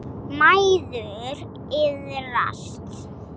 Mæður iðrast.